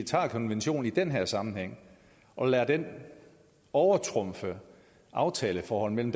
tager konventionen i den her sammenhæng og lader den overtrumfe aftaleforholdet mellem